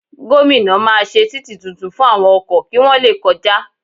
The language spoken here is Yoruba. Gomina máa ṣe títì tuntun fún àwọn ọkọ̀ kí wọ́n le kọjá